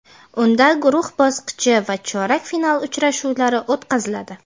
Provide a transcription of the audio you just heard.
Unda guruh bosqichi va chorak final uchrashuvlari o‘tkaziladi.